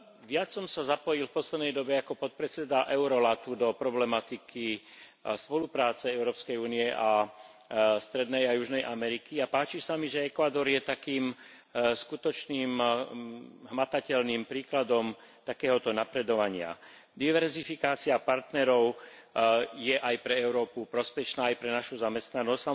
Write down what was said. Viac som sa zapojil v poslednej dobe ako podpredseda Eurolatu do problematiky spolupráce Európskej únie a Strednej a Južnej Ameriky a páči sa mi, že Ekvádor je takým skutočným hmatateľným príkladom takéhoto napredovania. Diverzifikácia partnerov je aj pre Európu prospešná, aj pre našu zamestnanosť.